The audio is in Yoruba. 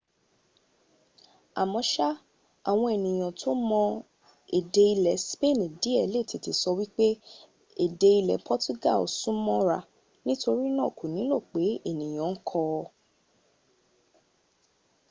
àmọ́ṣá àwọn ènìyàn tó ma èdè ilẹ̀ spain díẹ̀ lè tètè sọ wípé èdè ilẹ̀ portugal súnmọ́ ra nítorínà kò nílò pé ènìyàn ń kọ́ ọ